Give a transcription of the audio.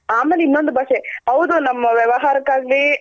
ಆಮೇಲೆ ಇನೊಂದು ಬಾಷೆ ಹೌದು ನಮ್ಮ ವ್ಯವಾಹರಕ್ಕಾಗ್ಲಿ